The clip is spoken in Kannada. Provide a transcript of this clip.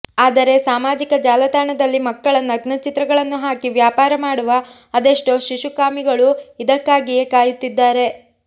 ಆದರೆ ಸಾಮಾಜಿಕ ಜಾಲತಾಣದಲ್ಲಿ ಮಕ್ಕಳ ನಗ್ನಚಿತ್ರಗಳನ್ನು ಹಾಕಿ ವ್ಯಾಪಾರ ಮಾಡುವ ಅದೆಷ್ಟೋ ಶಿಶುಕಾಮಿಗಳು ಇದಕ್ಕಾಗಿಯೇ ಕಾಯುತ್ತಿದ್ದಾರೆ